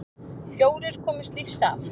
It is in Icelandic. Fjórir komust lífs af.